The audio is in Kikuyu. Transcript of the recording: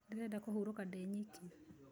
Ndĩrenda kũhurũka ndĩ nyiki